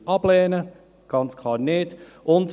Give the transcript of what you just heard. Dies würde ganz klar nicht geschehen.